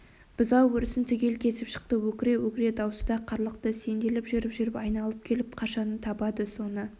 бұзау өрісін түгел кезіп шықты өкіре-өкіре даусы да қарлықты сенделіп жүріп-жүріп айналып келіп қашаны табады соны